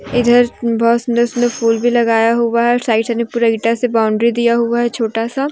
इधर बहोत सुंदर सुंदर फूल भी लगाया हुआ है और साइड साइड में पूरा इटा से बाउंड्री दिया हुआ है छोटा सा।